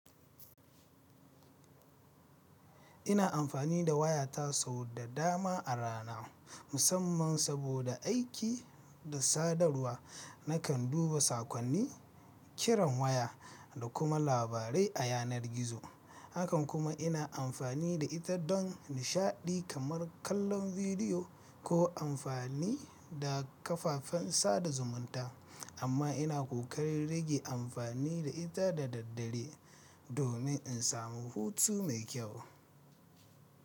Ina amfani da wayata sau da dama a rana, musamman saboda aiki da sadarwa. Nakan duba saƙonni, kiran waya, da kuma labarai a yanar gizo. Hakan kuma ina amfani da ita don nishaɗi kamar kallon bidiyo ko amfani da kafafen sada zumunta. Amma ina ƙoƙarin rage amfani da ita da daddare domin in samu hutu mai kyau.